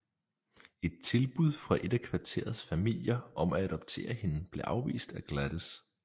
Et tilbud fra et af kvarterets familier om at adoptere hende blev afvist af Gladys